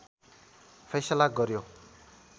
फैसला गर्‍यो